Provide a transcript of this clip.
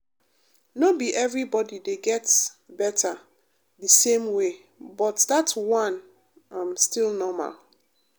no be everybody dey get better the same way but that one um still normal.